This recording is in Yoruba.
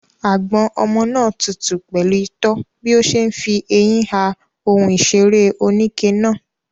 Àgbọ̀n ọmọ náà tutù pẹ̀lú itọ́ bí ó ṣe ń fi eyín ha ohun ìṣeré oníke náà.